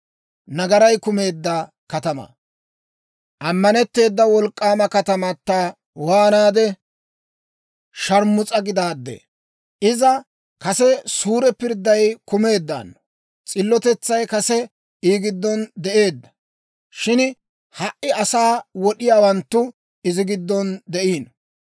Ammanetteeda wolk'k'aama katamata waanaade sharmus'a gidaadee! Iza kase suure pirdday kumeeddaano; s'illotetsay kase I giddon de'eedda; shin ha"i asaa wod'iyaawanttu izi giddon de'iino.